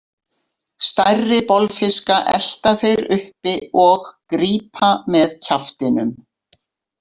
Stærri bolfiska elta þeir uppi og grípa með kjaftinum.